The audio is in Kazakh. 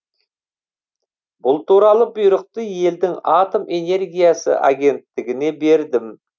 бұл туралы бұйрықты елдің атом энергиясы агенттігіне бердім